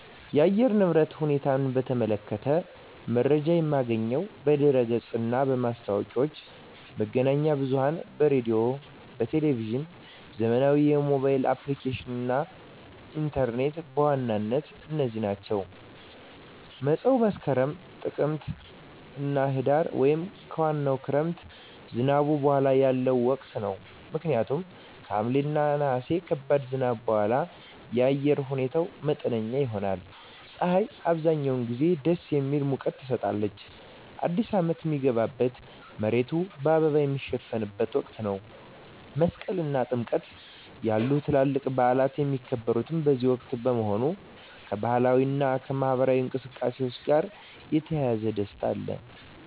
የአየር ንብረት ሁኔታን በተመለከተ መረጃ የማገኘው በድረ-ገጽ እና ማስታወቂያዎች፣ መገናኛ ብዙኃን በራዲዮ፣ በቴሊቭዥን፣ ዘመናዊ የሞባይል አፕሊኬሽኖች እና ኢንተርኔት በዋናነት እነዚህ ናቸው። መፀው መስከረም፣ ጥቅምትና ህዳር) ወይም ከዋናው የክረምት ዝናብ በኋላ ያለው ወቅት ነው። ምክንያቱም ከሐምሌ እና ነሐሴ ከባድ ዝናብ በኋላ የአየር ሁኔታው መጠነኛ ይሆናል። ፀሐይ አብዛኛውን ጊዜ ደስ የሚል ሙቀት ትሰጣለች። አዲስ አመት ሚገባበት፣ መሬቱ በአበባ ሚሸፈንበት ወቅት ነው። መስቀል እና ጥምቀት ያሉ ታላላቅ በዓላት የሚከበሩት በዚህ ወቅት በመሆኑ፣ ከባህላዊ እና ማኅበራዊ እንቅስቃሴዎች ጋር የተያያዘ ደስታ አለ።